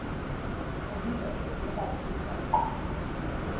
kubizwa ngokuba yimigaqo